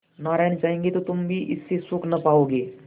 नारायण चाहेंगे तो तुम भी इससे सुख न पाओगे